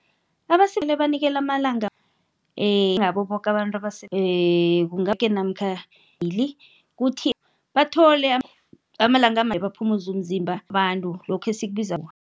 Abasele banikelwe amalanga njengabo boke abantu abase namkha mabili kuthi bathole amalanga baphumuze umzimba abantu lokho esikubiza